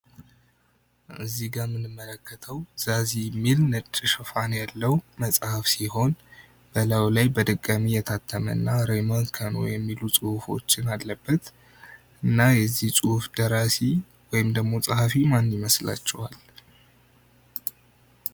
እዚጋ የምንመለከተው ዛዚ የሚል ነጭ ሽፋን ያለው መጽሃፍ ሲሆን በላዩ ላይ በድጋሜ የታተመ እና ረይሞን ከኖ የሚሉ ጽሁፎችን አሉበት። እና የዚ ጽሁፍ ደራሲ ወይም ጸሃፊ ማን ይመስላችዋል?